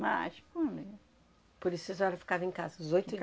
Mas, qual é... Por isso que a senhora ficava em casa, os oito